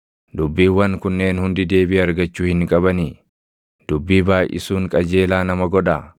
“Dubbiiwwan kunneen hundi deebii argachuu hin qabanii? Dubbii baayʼisuun qajeelaa nama godhaa?